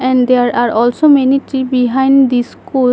And there are also many tree behind the school.